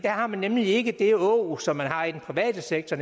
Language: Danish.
har man nemlig ikke det åg som man har i den private sektor